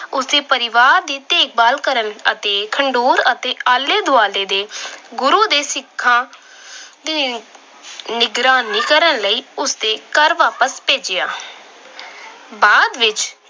ਉਸ ਦੇ ਪਰਿਵਾਰ ਦੀ ਦੇਖਭਾਲ ਕਰਨ ਅਤੇ ਖਡੂਰ ਅਤੇ ਆਲੇ-ਦੁਆਲੇ ਦੇ ਗੁਰੂ ਦੇ ਸਿੱਖਾਂ ਆਹ ਦੀ ਨਿਗਰਾਨੀ ਕਰਨ ਲਈ ਉਸ ਦੇ ਘਰ ਵਾਪਸ ਭੇਜਿਆ। ਬਾਅਦ ਵਿੱਚ